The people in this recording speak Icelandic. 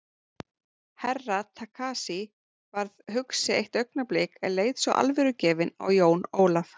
Herra Takashi varð hugsi eitt augnablik en leit svo alvörugefinn á Jón Ólaf.